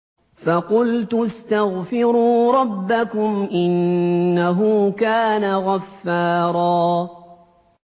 فَقُلْتُ اسْتَغْفِرُوا رَبَّكُمْ إِنَّهُ كَانَ غَفَّارًا